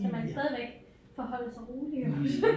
Skal man stadigvæk forholde sig rolig jo